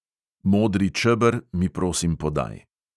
Modri čeber mi prosim podaj.